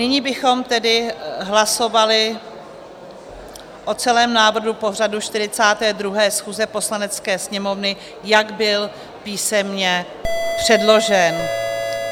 Nyní bychom tedy hlasovali o celém návrhu pořadu 42. schůze Poslanecké sněmovny, jak byl písemně předložen.